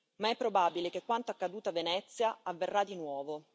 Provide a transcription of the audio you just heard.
ma è probabile che quanto accaduto a Venezia avverrà di nuovo.